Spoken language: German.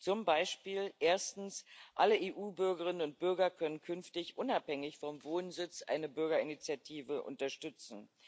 Zum Beispiel können erstens alle EU Bürgerinnen und Bürger künftig unabhängig vom Wohnsitz eine Bürgerinitiative unterstützen.